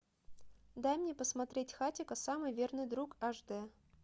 дай мне посмотреть хатико самый верный друг аш д